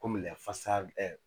Kɔmi fasa